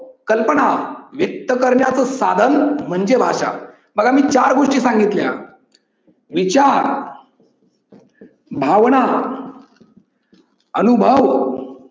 कल्पना व्यक्त करण्याचे साधन म्हणजे भाषा. बघा मी चार गोष्टी सांगितल्या. विचार, भावना, अनुभव